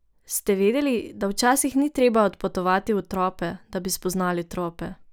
Ste vedeli, da včasih ni treba odpotovati v trope, da bi spoznali trope?